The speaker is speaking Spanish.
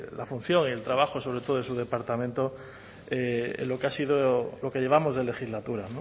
la función y el trabajo sobre todo de su departamento en lo que ha sido lo que llevamos de legislatura